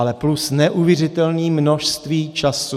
Ale plus neuvěřitelné množství času.